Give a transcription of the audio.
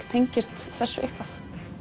tengist þessu eitthvað